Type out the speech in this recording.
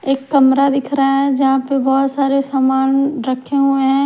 एक कमरा दिख रहा है जहां पे बहोत सारे सामान रखे हुए हैं।